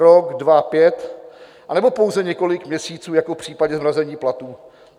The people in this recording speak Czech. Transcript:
Rok, dva, pět, anebo pouze několik měsíců jako v případě zmrazení platů?